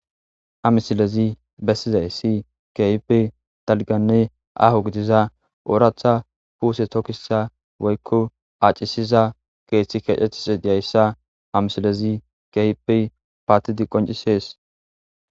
Ha misilezi bessizay si kehipe dalganne aho gidiza ooraatha puuse tokkisa woykko acisiza keeththi kecetis diyayssa ha misilezi kehipe paatidi qoncisees